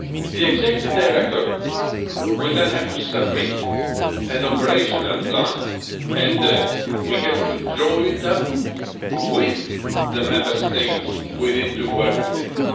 The Executive Director will then have to submit an operational plan and will have to draw it up with the Member States within two working